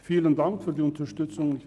Vielen Dank für Ihre Unterstützung.